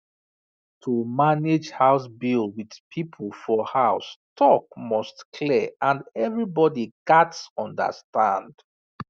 to manage house bill with people for house talk must clear and everybody gats understand